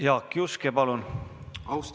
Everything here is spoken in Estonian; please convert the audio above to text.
Jaak Juske, palun!